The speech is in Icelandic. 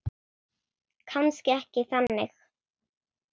Kannski ekki þannig.